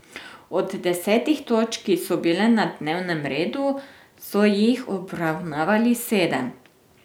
Od desetih točk, ki so bile na dnevnem redu, so jih obravnavali sedem.